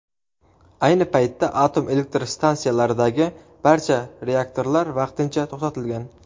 Ayni paytda atom elektr stansiyalaridagi barcha reaktorlar vaqtincha to‘xtatilgan.